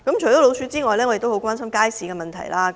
除了鼠患外，我也十分關注街市的問題。